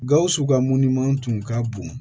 Gawusu ka mun tun ka bon